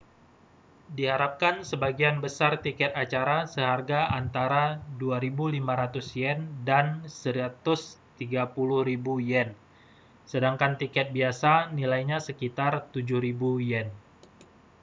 diharapkan sebagian besar tiket acara seharga antara â¥2.500 dan â¥130.000 sedangkan tiket biasa nilainya sekitar â¥7.000